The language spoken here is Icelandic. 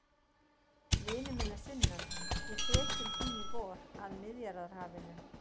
Vinur minn að sunnan, ég fer til þín í vor, að Miðjarðarhafinu.